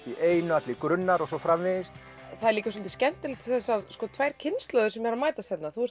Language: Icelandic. í einu allir grunnar og svo framvegis það er svolítið skemmtilegt þessar tvær kynslóðir sem mætast hérna þú